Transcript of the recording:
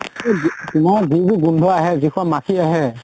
যোন টো গোন্ধ আহে, যিখন মাখি আহে